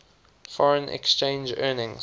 foreign exchange earnings